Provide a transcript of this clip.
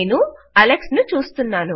నేను అలెక్స్ ను చూస్తున్నాను